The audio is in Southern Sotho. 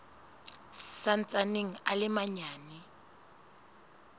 sa ntsaneng a le manyane